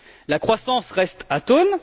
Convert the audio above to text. La croissance reste atone